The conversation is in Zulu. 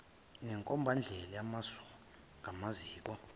nenkombandlela yamasu kumaziko